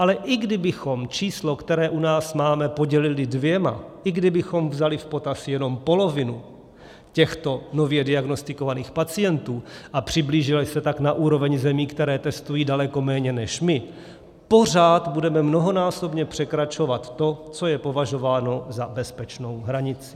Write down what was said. Ale i kdybychom číslo, které u nás máme, podělili dvěma, i kdybychom vzali v potaz jenom polovinu těchto nově diagnostikovaných pacientů a přiblížili se tak na úroveň zemí, které testují daleko méně než my, pořád budeme mnohonásobně překračovat to, co je považováno za bezpečnou hranici.